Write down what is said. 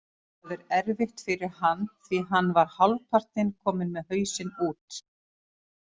Það er erfitt fyrir hann því hann var hálfpartinn kominn með hausinn út.